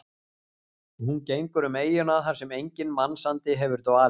Og hún gengur um eyjuna þar sem enginn mannsandi hefur dvalið.